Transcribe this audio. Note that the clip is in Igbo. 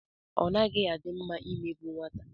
Ọ naghị a dị mma i megbu nwata.